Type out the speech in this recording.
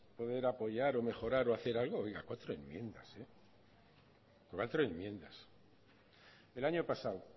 de apoyar o mejorar o hacer algo oiga cuatro enmiendas el año pasado